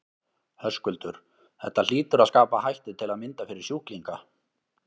Höskuldur: Þetta hlýtur að skapa hættu til að mynda fyrir sjúklinga?